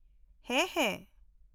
-ᱦᱮᱸ, ᱦᱮᱸ ᱾